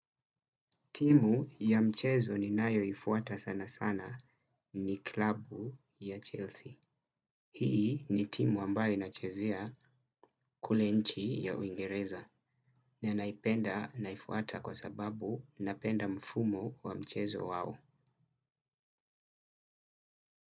Timu ya mchezo ninayoifuata sana sana ni klabu ya Chelsea. Hii ni timu ambayo inachezea kule nchi ya uingereza. Nenaipenda naifuata kwa sababu napenda mfumo wa mchezo wao.